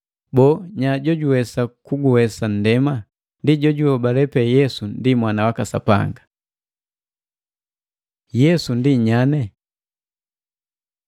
Boo, nya jojuwesa kuguwesa nndema? Ndi jo juhobale pe Yesu ndi Mwana waka Sapanga. Yesu ndi nyane